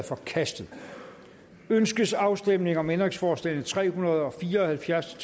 forkastet ønskes afstemning om ændringsforslag nummer tre hundrede og fire og halvfjerds